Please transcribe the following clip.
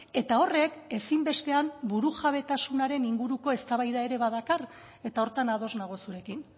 eta horrek ezinbestean burujabetasunaren inguruko eztabaida ere badakar eta horretan ados nago zurekin